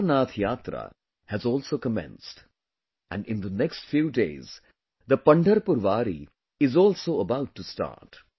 The Amarnath Yatra has also commenced, and in the next few days, the Pandharpur Wari is also about to start